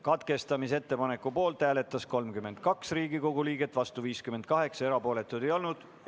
Katkestamise ettepaneku poolt hääletas 32 Riigikogu liiget, vastu 58, erapooletuid ei olnud.